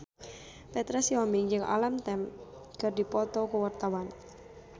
Petra Sihombing jeung Alam Tam keur dipoto ku wartawan